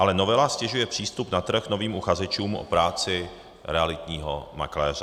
Ale novela ztěžuje přístup na trh novým uchazečům o práci realitního makléře.